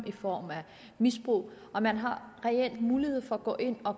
i form af misbrug man har en reel mulighed for at gå ind og